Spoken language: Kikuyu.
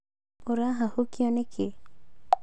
Ũrahahũkio nĩkĩĩ?